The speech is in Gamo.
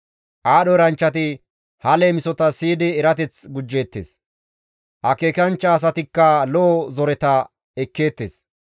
Aadho eranchchati ha leemisota siyidi erateth gujjeettes; akeekanchcha asatikka lo7o zoreta ekkeettes.